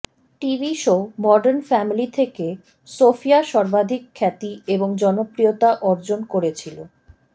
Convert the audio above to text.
TV show Modern Family থেকে Sophia সর্বাধিক খ্যাতি এবং জনপ্রিয়তা অর্জন করেছিল